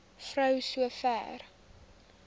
vrou so ver